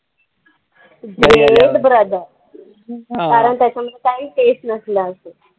कारण त्याच्यामध्ये काही taste नसलं असेल.